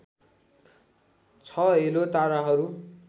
छ हेलो ताराहरू